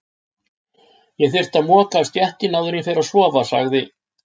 Ég þyrfti að moka af stéttinni áður en ég fer að sofa, sagði